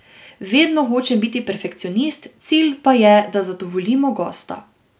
Vedno hočem biti perfekcionist, cilj pa je, da zadovoljimo gosta.